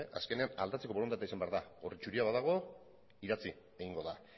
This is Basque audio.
azkenean aldatzeko borondatea izan behar da orri zuria badago idatzi egingo da